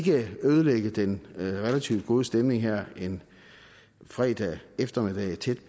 ødelægge den relativt gode stemning her en fredag eftermiddag tæt